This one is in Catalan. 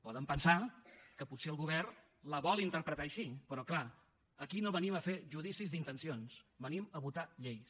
poden pensar que potser el govern la vol interpretar així però clar aquí no venim a fer judicis d’intencions venim a votar lleis